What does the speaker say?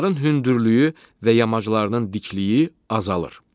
Onların hündürlüyü və yamaclarının dikliyi azalır.